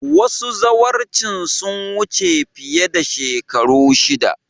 Wasu zawarcin sun wuce fiye da shekaru shida